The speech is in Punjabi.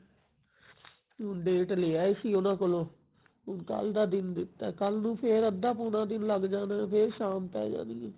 ਹੁਣ date ਲੇ ਆਏ ਸੀ ਉਹਨਾਂ ਕੋਲੋ ਹੁਣ ਕੱਲ ਦਾ ਦਿਨ ਦਿੱਤਾ ਕੱਲ ਨੂੰ ਫੇਰ ਅੱਧਾ ਪੂਰਾ ਦਿਨ ਲਗ ਜਾਣਾ ਫੇਰ ਸ਼ਾਮ ਪੈ ਜਾਣੀ ਹੈ